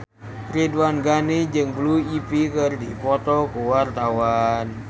Ridwan Ghani jeung Blue Ivy keur dipoto ku wartawan